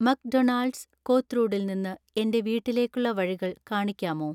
McDonald's കോത്രൂഡിൽ നിന്ന് എൻ്റെ വീട്ടിലേക്കുള്ള വഴികൾ കാണിക്കാമോ